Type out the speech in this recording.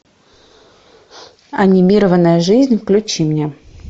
анимированная жизнь включи мне